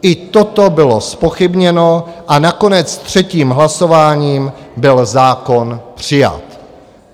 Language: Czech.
I toto bylo zpochybněno a nakonec třetím hlasováním byl zákon přijat.